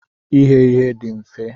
Ighe ihe dị mfe.